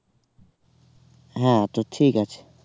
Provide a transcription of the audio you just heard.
হ্যাঁ তো ঠিক আছে